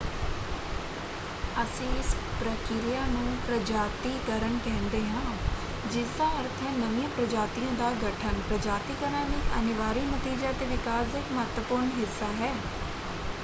ਅਸੀਂ ਇਸ ਪ੍ਰਕਿਰਿਆ ਨੂੰ ਪ੍ਰਜਾਤੀਕਰਨ ਕਹਿੰਦੇ ਹਾਂ ਜਿਸਦਾ ਅਰਥ ਹੈ ਨਵੀਆਂ ਪ੍ਰਜਾਤੀਆਂ ਦਾ ਗਠਨ। ਪ੍ਰਜਾਤੀਕਰਨ ਇੱਕ ਅਨਿਵਾਰੀ ਨਤੀਜਾ ਅਤੇ ਵਿਕਾਸ ਦਾ ਇੱਕ ਮਹੱਤਵਪੂਰਨ ਹਿੱਸਾ ਹੈ।